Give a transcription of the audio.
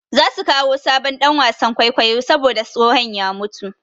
Za su kawo sabon ɗan wasan kwaikwayo saboda tsohon ya mutu.